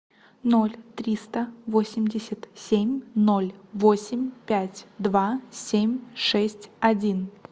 ноль триста восемьдесят семь ноль восемь пять два семь шесть один